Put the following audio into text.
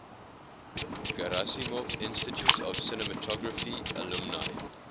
gerasimov institute of cinematography alumni